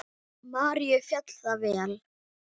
Maríu féll það vel.